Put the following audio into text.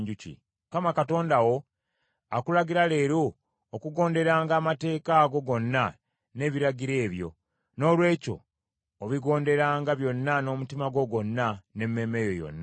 Mukama Katonda wo akulagira leero okugonderanga amateeka ago gonna n’ebiragiro ebyo; noolwekyo obigonderanga byonna n’omutima gwo gwonna n’emmeeme yo yonna.